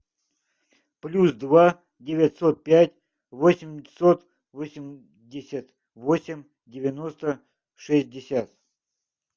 плюс два девятьсот пять восемьсот восемьдесят восемь девяносто шестьдесят